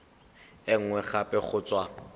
e nngwe gape go tswa